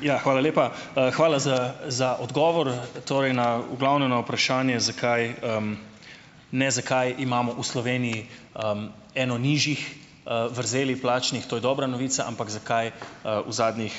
Ja, hvala lepa. hvala za, za odgovor, torej na, v glavnem na vprašanje, zakaj, ne, zakaj imamo v Sloveniji, eno nižjih, vrzelih plačnih, to je dobra novica, ampak zakaj, v zadnjih,